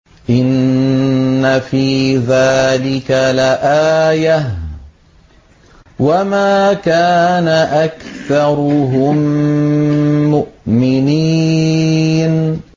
إِنَّ فِي ذَٰلِكَ لَآيَةً ۖ وَمَا كَانَ أَكْثَرُهُم مُّؤْمِنِينَ